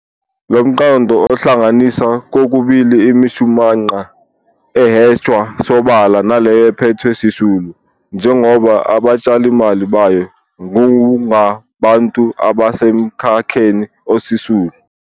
Lomqondo uhlanganisa kokubili imishumanqa ehwetshwa sobala naleyo ephethwe sisulu, njengoba abatshalimali bayo kungabantu abasemkhakheni osisulu.